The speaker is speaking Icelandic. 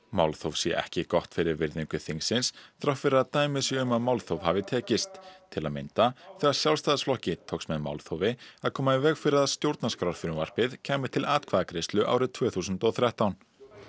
málþóf sé ekki gott fyrir virðingu þingsins þrátt fyrir að dæmi séu um að málþóf hafi tekist til að mynda þegar Sjálfstæðisflokki tókst með málþófi að koma í veg fyrir að stjórnarskrárfrumvarpið kæmi til atkvæðagreiðslu árið tvö þúsund og þrettán